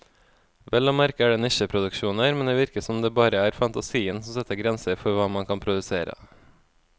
Vel å merke er det nisjeproduksjoner, men det virker som om det bare er fantasien som setter grenser for hva man kan produsere.